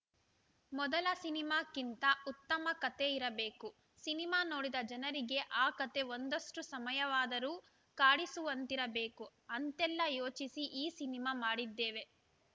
ಮೊದಲ ಸಿನಿಮಾಕ್ಕಿಂತ ಉತ್ತಮ ಕತೆ ಇರಬೇಕು ಸಿನಿಮಾ ನೋಡಿದ ಜನರಿಗೆ ಆ ಕತೆ ಒಂದಷ್ಟುಸಮಯವಾದರೂ ಕಾಡಿಸುವಂತಿರಬೇಕು ಅಂತೆಲ್ಲ ಯೋಚಿಸಿ ಈ ಸಿನಿಮಾ ಮಾಡಿದ್ದೇವೆ